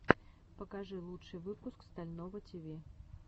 покажи лучший выпуск стального тиви